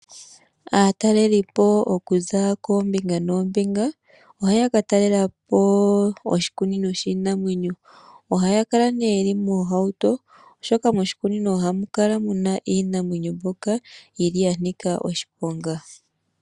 Aatalelipo okuza koombinga noombinga ohaya ka talalela po oshikunino shiinamwenyo. Ohaya kala nee ye li moohauto, oshoka moshikunino ohamu kala mu na iinamwenyo mbyoka yi li ya nika oshiponga.